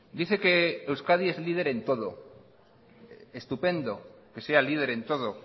dice que euskadi es líder en todo estupendo que sea líder en todo